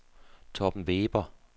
Torben Weber